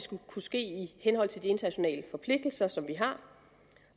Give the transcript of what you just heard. kunne ske i henhold til de internationale forpligtelser som vi har